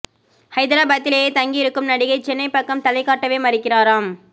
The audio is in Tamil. ஹைதராபாத்திலேயே தங்கியிருக்கும் நடிகை சென்னை பக்கம் தலை காட்டவே மறுக்கிறாராம்